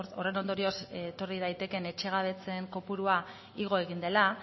horren ondorioz etorri daitekeen etxegabetzeen kopurua igo egin dela